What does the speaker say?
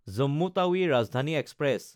Jammu Tawi Rajdhani express